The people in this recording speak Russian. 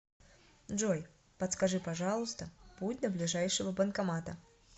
джой подскажи пожалуйста путь до ближайшего банкомата